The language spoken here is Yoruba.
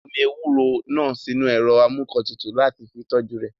Wọ́n gbé omi ewúro náà sínu ẹ̀rọ amúǹkantutù láti fi tọ́jú rẹ̀